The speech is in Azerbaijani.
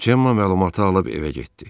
Cema məlumatı alıb evə getdi.